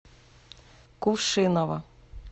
кувшиново